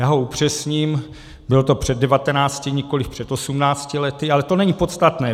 Já ho upřesním, bylo to před 19, nikoliv před 18 lety, ale to není podstatné.